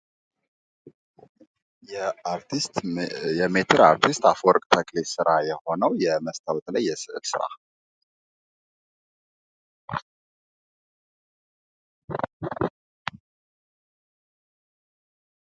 የሜትር አርቲስት ስራ የሆነው የመስታወት ላይ የስዕል ስራ።